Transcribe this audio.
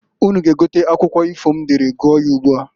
Unu ga egote akwụkwọ ifo m dere gụọ ya ugbua.